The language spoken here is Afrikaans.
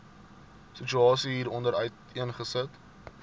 situasie hieronder uiteengesit